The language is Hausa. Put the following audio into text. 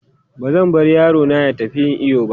Ba zan bar yaro na ya tafi yin iyo ba.